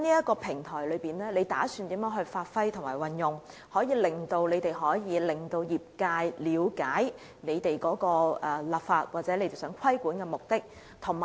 局長打算如何發揮及運用這個平台，令業界了解政府的立法或規管的目的呢？